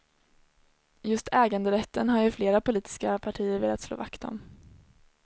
Just äganderätten har ju flera politiska partier velat slå vakt om.